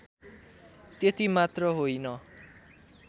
त्यति मात्र होइन